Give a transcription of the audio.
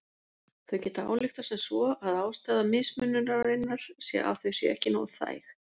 Þau geta ályktað sem svo að ástæða mismununarinnar sé að þau séu ekki nógu þæg.